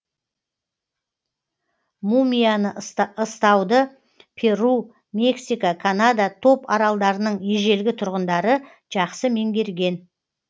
мумияны ыстауды перу мексика канада топ аралдарының ежелгі тұрғындары жақсы меңгерген